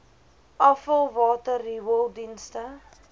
afvalwater riool dienste